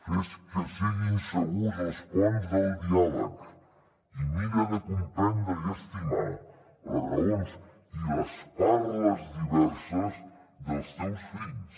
fes que siguin segurs els ponts del diàleg i mira de comprendre i estimar les raons i les parles diverses dels teus fills